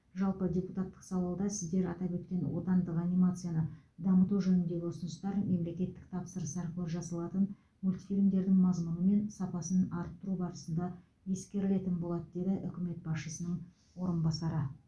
жалпы депуттатық сауалда сіздер атап өткен отандық анимацияны дамыту жөніндегі ұсыныстар мемлекеттік тапсырыс арқылы жасалатын мультфильмдердің мазмұны мен сапасын арттыру барысында ескерілетін болады деді үкімет басшысының орынбасары